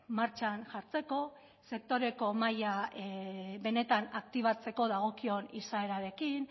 martxan jartzeko sektore mahaia benetan aktibatzeko dagokion izaerarekin